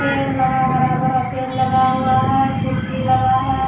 पेड़ लगा हरा-भरा पेड़ लगा हुआ है कुर्सी लगा --